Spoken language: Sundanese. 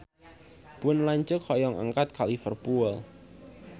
Pun lanceuk hoyong angkat ka Liverpool